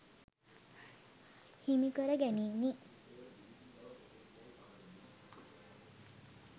හිමි කර ගැනිණි.